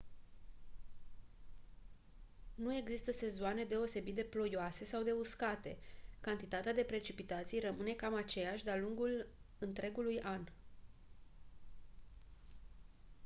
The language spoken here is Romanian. nu există sezoane deosebit de «ploioase» sau de «uscate»: cantitatea de precipitații rămâne cam aceeași de-a lungul întregului an.